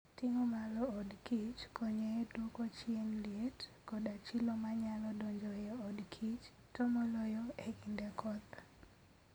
Ting'o malo od kich konyo e duoko chien liet koda chilo manyalo donjo e odkich, to moloyo e kinde koth.